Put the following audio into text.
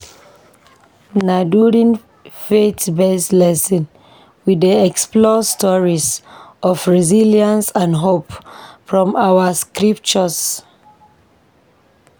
Na during faith-based lessons, we dey explore stories of resilience and hope from our scriptures.